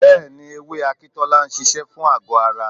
Bẹ́ẹ̀ni, ewé Akintola ń ṣiṣẹ́ fún àgọ́-ara.